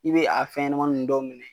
I bi a fɛnɲɛnɛmanin nunnu dɔw minɛ